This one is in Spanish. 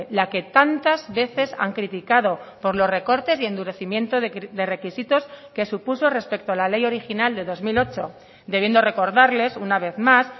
la que tantas veces han criticado por los recortes y endurecimiento de requisitos que supuso respecto a la ley original de dos mil ocho debiendo recordarles una vez más